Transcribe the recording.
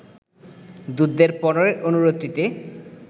দূতদের পরের অনুরোধটিতে